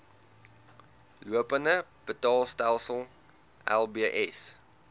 lopende betaalstelsel lbs